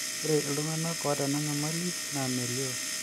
ore iltunganak oota ena nyamali naa melio